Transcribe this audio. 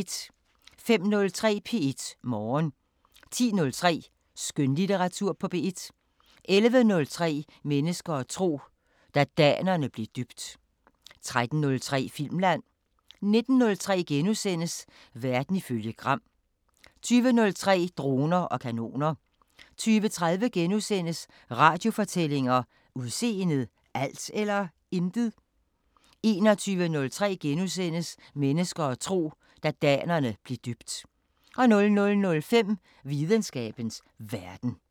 05:03: P1 Morgen 10:03: Skønlitteratur på P1 11:03: Mennesker og tro: Da danerne blev døbt 13:03: Filmland 19:03: Verden ifølge Gram * 20:03: Droner og kanoner 20:30: Radiofortællinger: Udseendet – alt eller intet? * 21:03: Mennesker og tro: Da danerne blev døbt * 00:05: Videnskabens Verden